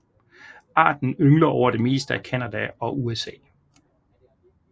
Arten yngler over det meste af Canada og USA